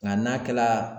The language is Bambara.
Nka n'a kɛla